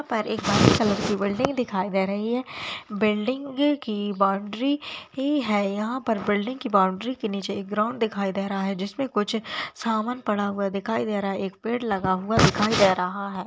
यहाँ पर एक वाइट कलर की बिल्डिंग दिखाई दे रही है बिल्डिंग की बॉउंड्री ही है यहाँ पर बिल्डिंग के बॉउंड्री के नीचे एक ग्राउंड दिखाई दे रहा है जिसपे कुछ सामान पड़ा हुआ दिखाई दे रहा है एक पेड़ लगा हुआ दिखाई दे रहा है।